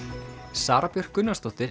Sara Björk Gunnarsdóttir